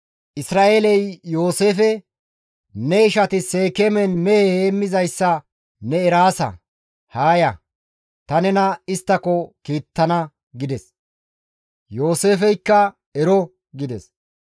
Isra7eeley Yooseefe, «Ne ishati Seekeemen mehe heemmizayssa ne eraasa; haa ya; ta nena isttako kiittana» gides. Yooseefeykka, «Ero» gides.